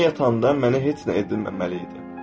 Mən yatanda mənə heç nə edilməməli idi.